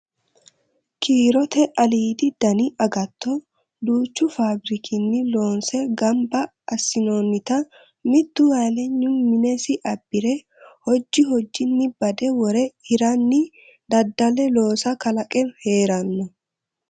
Kiirote aliidi dani agatto duuchu fabbirikinni loonse gamba assinonnitta mitu halanyi minesi abbire hoji hojinni bade wore hiranni dadda'le looso kalaqe heerano.